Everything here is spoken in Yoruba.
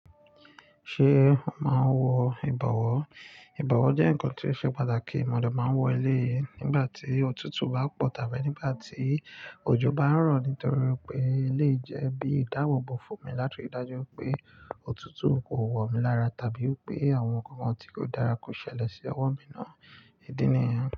Ṣé o máa ń wọ ìbọ̀wọ́? Ìbọ̀wọ́ jẹ́ ǹkan tí ó ṣe pàtàkì. Mọ̀ de máa ń wọ eléyì ngbà tí òtútù bá pọ̀ tàbí nígbà tí òjò bá ń rọ̀ nítorí wipé elèyi jẹ́ bí ìdáàbòbò fún mi láti ri dájú wipé òtútù kò wọ̀ mí lára tàbí wipé àwọn ǹnkan kan tí kò dára kò ṣẹlẹ̀ sí ọwọ́ mi ná. Ìdí nìyẹn.